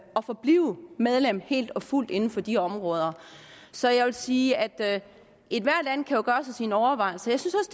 og forblive medlem helt og fuldt inden for de områder så jeg vil sige at ethvert land jo kan gøre sig sine overvejelser jeg synes